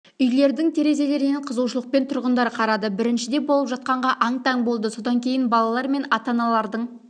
үйлердің терезелерінен қызығушылықпен тұрғындар қарады біріншіде болып жатқанға аң-таң болды содан кейін балалар мен ата-аналардың